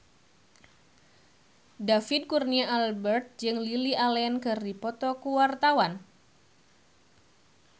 David Kurnia Albert jeung Lily Allen keur dipoto ku wartawan